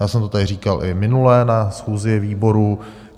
Já jsem to tady říkal i minule na schůzi výboru.